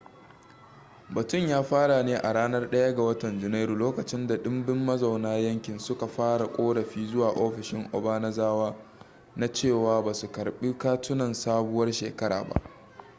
batun ya fara ne a ranar 1 ga watan janairu lokacin da dimbin mazauna yankin suka fara korafi zuwa ofishin obanazawa na cewa basu karbi katunan sabuwar shekara ba